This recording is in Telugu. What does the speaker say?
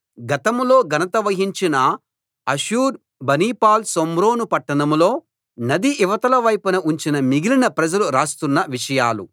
గతంలో ఘనత వహించిన అషుర్ బనిపాల్ షోమ్రోను పట్టణంలో నది ఇవతల వైపున ఉంచిన మిగిలిన ప్రజలు రాస్తున్న విషయాలు